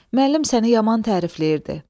Müəllim səni yaman tərifləyirdi.